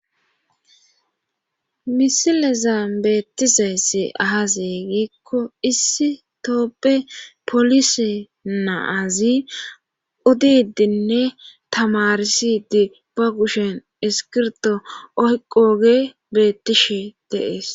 Misileza beettizayssi ahazeeygiikko issi tooppe polise naazi odidinne tamarisidi ba kushen eskirto oyqooge beettishe deees